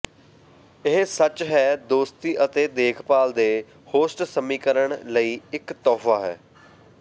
ਇਹ ਸੱਚ ਹੈ ਦੋਸਤੀ ਅਤੇ ਦੇਖਭਾਲ ਦੇ ਹੋਸਟ ਸਮੀਕਰਨ ਲਈ ਇੱਕ ਤੋਹਫ਼ਾ ਹੈ